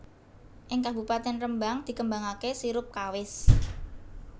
Ing Kabupatèn Rembang dikembangaké sirup kawis